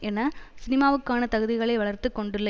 என சினிமாவுக்கான தகுதிகளை வளர்த்துக்கொண்டுள்ள